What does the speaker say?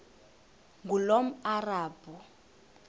ngulomarabu